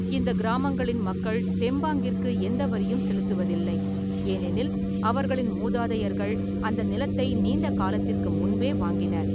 இந்த கிராமங்களின் மக்கள் தெம்பாங்கிற்கு எந்த வரியும் செலுத்துவதில்லை, ஏனெனில் அவர்களின் மூதாதையர்கள் அந்த நிலத்தை நீண்ட காலத்திற்கு முன்பே வாங்கினர்.